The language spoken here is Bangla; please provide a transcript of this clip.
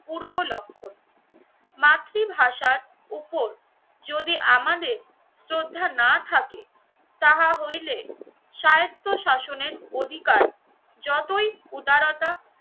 পূর্ব লক্ষণ। মাতৃভাষার উপর যদি আমাদের শ্রদ্ধা না থাকে তাহা হইলে সাহিত্য শাসনের অধিকার যতই উদারতা